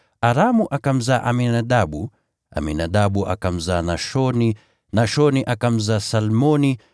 Aramu akamzaa Aminadabu, Aminadabu akamzaa Nashoni, Nashoni akamzaa Salmoni,